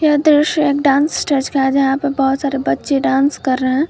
यह दृश्य एक डांस स्टेज का है यहां पे बहुत सारे बच्चे डांस कर रहे हैं।